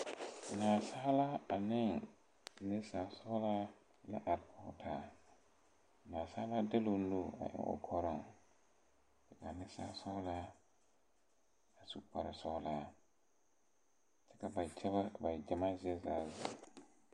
Nasaalaa ne niŋsaasɔglaa la are kɔŋ taa nasaalaa de la o nu eŋ o kɔriŋ kaa niŋsaasɔglaa a su kpare sɔglaa kyɛ ka ba gyamaa zie zaa ziŋ.